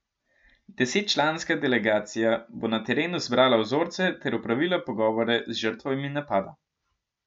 Desetčlanska delegacija bo na terenu zbrala vzorce ter opravila pogovore z žrtvami napada.